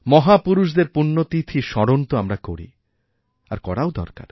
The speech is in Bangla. মহাপুরুষদের পূণ্যতিথিস্মরণ তো আমরা করি আর করাও দরকার